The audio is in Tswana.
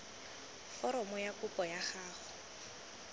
foromo ya kopo ya gago